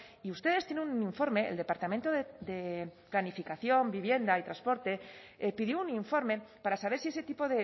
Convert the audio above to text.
y ustedes tienen un informe el departamento de planificación vivienda y transporte pidió un informe para saber si ese tipo